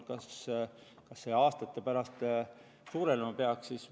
Kas see peaks aastate pärast suurenema?